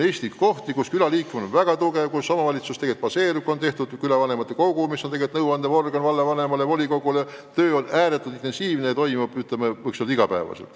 Eestis on kohti, kus külaliikumine on väga tugev, kus omavalitsus tegelikult baseerub küladel, on moodustatud külavanemate kogu, mis on vallavanemale ja volikogule nõu andev kogu, töö on ääretult intensiivne ja igapäevane.